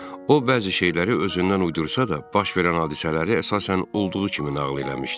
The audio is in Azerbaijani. O bəzi şeyləri özündən uydursa da, baş verən hadisələri əsasən olduğu kimi nağıl eləmişdi.